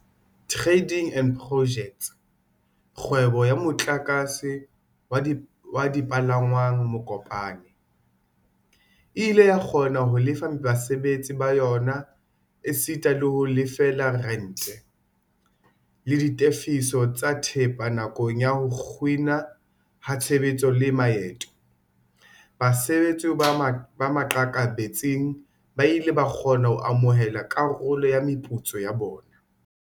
Trading and Pojects, kgwebo ya motlakase wa dipalangwang Mokopane, e ile ya kgona ho lefa basebetsi ba yona esita le ho lefella rente, le ditefiso tsa thepa nakong ya ho kginwa ha tshebetso le maeto. Basebetsi ba maqakabetsing ba ile ba kgona ho amohela karolo ya meputso ya bona.